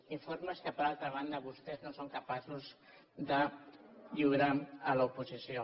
informes que per altra banda vostès no són capaços de lliurar a l’oposició